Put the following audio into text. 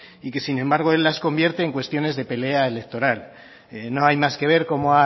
y que sin embargo él las convierte en cuestiones de pelea electoral no hay más que ver